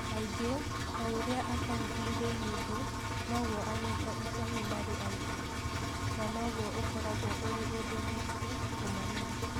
Kaingĩ, o ũrĩa akaunti irĩ nyingĩ , noguo anyita itemi marĩ aingĩ .Na noguo ũkoragwo ũrĩ ũndũ mũritũ kũmamenya.